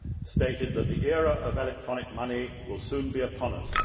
stated that the era of electronic money will soon be upon us.